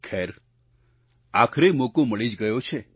ખેર આખરે મોકો મળી જ ગયો છે